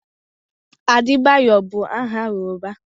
Adebayo bụ aha Yoruba.